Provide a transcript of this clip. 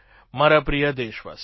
મારા પ્રિય દેશવાસીઓ